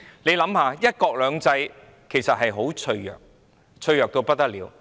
大家想想，"一國兩制"原則其實很脆弱，脆弱到不得了。